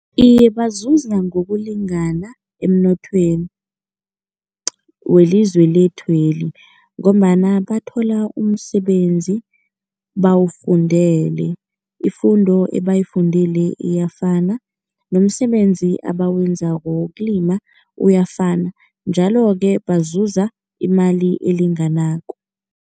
Iye, bazuza ngokulingana emnothweni welizwe lethweli ngombana bathola umsebenzi bawufundele. Ifundo ebayifundile iyafana nomsebenzi abawenzako wokulima uyafana, njalo-ke bazuza imali elinganako.